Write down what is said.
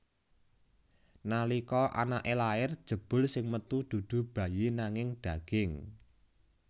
Nalika anaké lair jebul sing metu dudu bayi nanging daging